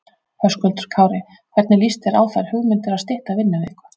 Höskuldur Kári: Hvernig lýst þér á þær hugmyndir að stytta vinnuviku?